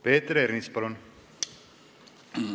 Peeter Ernits, palun!